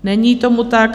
Není tomu tak.